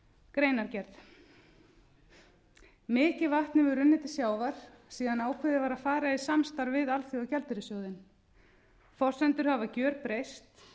greinargerð mikið vatn hefur runnið til sjávar síðan ákveðið var að fara í samstarf við alþjóðagjaldeyrissjóðinn forsendur hafa gjörbreyst